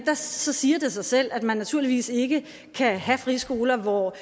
så siger det sig selv at man naturligvis ikke kan have friskoler hvor